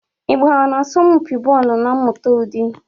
Ị gbara n'asọmpi bọọlụ na mmụta ụdị?